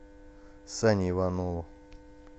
сане иванову